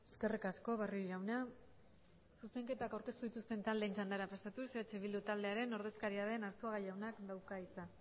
eskerrik asko barrio jauna zuzenketak aurkeztu dituzten taldeen txandara pasatuz eh bildu taldearen ordezkaria den arzuaga jaunak dauka hitza